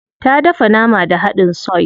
Ta dafa nama da hadin soy.